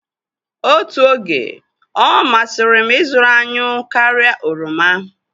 Otu oge, ọ masịrị m ịzụrụ anyụ karịa oroma.